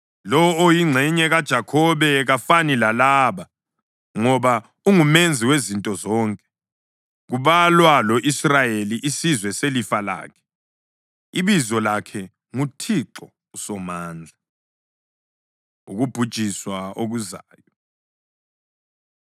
Lowo oyiNgxenye kaJakhobe kafani lalaba, ngoba unguMenzi wezinto zonke, kubalwa lo-Israyeli, isizwe selifa lakhe, ibizo lakhe nguThixo uSomandla. Ukubhujiswa Okuzayo